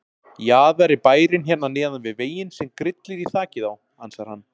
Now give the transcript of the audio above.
Jaðar er bærinn hérna neðan við veginn sem grillir í þakið á, ansar hann.